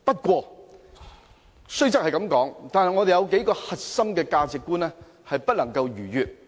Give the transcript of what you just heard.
話雖如此，我們有幾個核心的價值觀是不能逾越的。